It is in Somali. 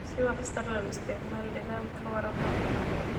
Si waxtar leh u isticmaal nidaamka waraabka qorraxda.